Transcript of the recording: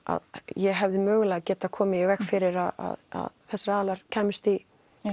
ég hefði geta komið í veg fyrir að þessir aðilar kæmust í